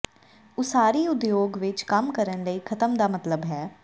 ਉਸਾਰੀ ਉਦਯੋਗ ਵਿੱਚ ਕੰਮ ਕਰਨ ਲਈ ਖ਼ਤਮ ਦਾ ਮਤਲਬ ਹੈ